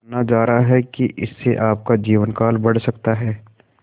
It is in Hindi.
माना जा रहा है कि इससे आपका जीवनकाल बढ़ सकता है